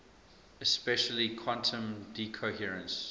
especially quantum decoherence